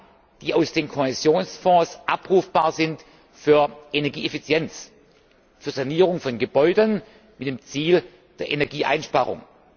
EUR haben, die aus den Kohäsionsfonds abrufbar sind, für Energieeffizienz, für Sanierung von Gebäuden mit dem Ziel der Energieeinsparung.